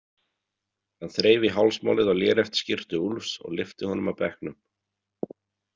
Hann þreif í hálsmálið á léreftsskyrtu Úlfs og lyfti honum af bekknum.